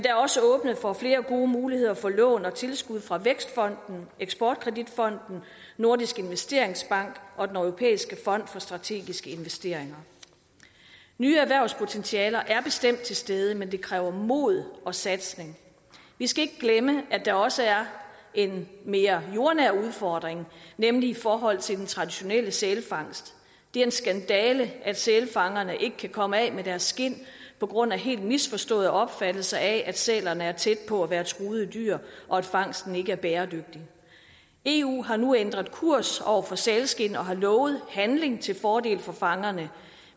er også åbnet for flere gode muligheder for lån og tilskud fra vækstfonden eksportkreditfonden nordisk investeringsbank og den europæiske fond for strategiske investeringer nye erhvervspotentialer er bestemt til stede men det kræver mod og satsning vi skal ikke glemme at der også er en mere jordnær udfordring nemlig i forhold til den traditionelle sælfangst det er en skandale at sælfangerne ikke kan komme af med deres skind på grund af helt misforståede opfattelser af at sælerne er tæt på at være truede dyr og at fangsten ikke er bæredygtig eu har nu ændret kurs over for sælskind og har lovet handling til fordel for fangerne